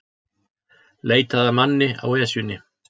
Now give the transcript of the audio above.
Leitað að manni á Esjunni